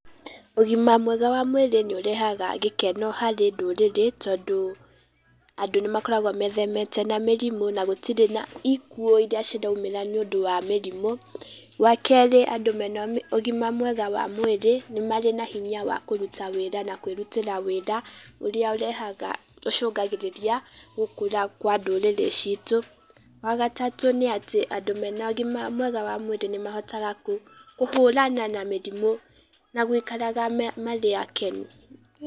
Ũgima mwega wa mwĩrĩ nĩ ũrehaga gĩkeno harĩ ndũrĩrĩ, tondũ andũ nĩ makoragwo methemete na mĩrimũ, na gũtirĩ na ikuũ iria ciraumĩra nĩũndũ wa mĩrimũ, wa kerĩ, andũ mena ũgima mwega wa mwĩrĩ nĩ marĩ na hinya wa kũruta wĩra na kwĩrutĩra wĩra, ũrĩa ũrehaga, ũrĩa ũcũngagĩrĩria gũkũra kwa ndũrĩrĩ citũ. Wa gatatũ nĩ atĩ, andũ mena ũgima wa mwĩrĩ nĩ mahotaga kũhũrana na mĩrimũ na gũikaraga marĩ akenu.